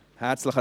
Herzlichen